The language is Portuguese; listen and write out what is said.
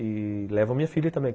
E levo a minha filha também.